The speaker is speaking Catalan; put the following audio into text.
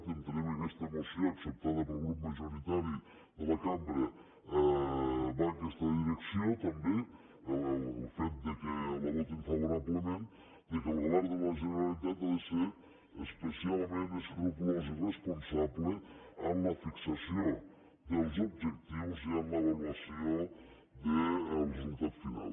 i entenem que aquesta moció acceptada pel grup majoritari de la cambra va en aquesta direcció també el fet que la votin favorablement que el govern de la generalitat ha de ser especialment escrupolós i responsable en la fixació dels objectius i en l’avaluació del resultat final